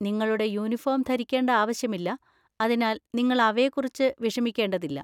നിങ്ങളുടെ യൂണിഫോം ധരിക്കേണ്ട ആവശ്യമില്ല, അതിനാൽ നിങ്ങൾ അവയെക്കുറിച്ച് വിഷമിക്കേണ്ടതില്ല.